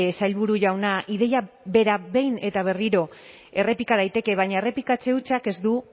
sailburu jauna ideia bera behin eta berriro errepika daiteke baina errepikatze hutsak ez du